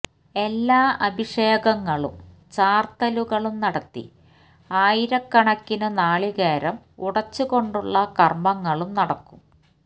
എല്ലാ അഭിഷേകങ്ങളും ചാര്ത്തലുകളും നടത്തി ആയിരക്കണക്കിനു നാളീകേരം ഉടച്ചുകൊണ്ടുള്ള കര്മ്മങ്ങളും നടക്കും